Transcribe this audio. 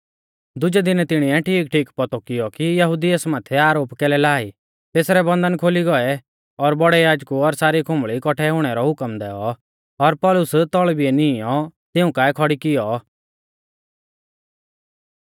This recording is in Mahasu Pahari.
दुजै दिनै तिणीऐ ठीकठीक पौतौ कियौ कि यहुदी एस माथै आरोप कैलै ला ई तेसरै बन्धन खोली गौऐ और बौड़ै याजकु और सारी खुंबल़ी कौट्ठै हुणै रौ हुकम दैऔ और पौलुस तौल़ भिलै नीईंयौ तिऊं काऐ खौड़ी कियौ